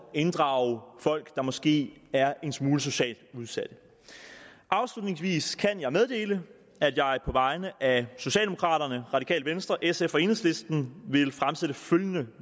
at inddrage folk der måske er en smule socialt udsatte afslutningsvis kan jeg meddele at jeg på vegne af socialdemokraterne radikale venstre sf og enhedslisten vil fremsætte følgende